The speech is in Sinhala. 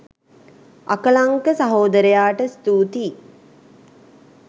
අකලංක සහෝදරයාට ස්තූතියි